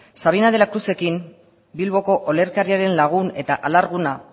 sabina de la cruz ekin bilboko olerkariaren lagun eta alarguna